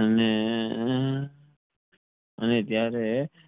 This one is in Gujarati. અને અને ત્યરેહ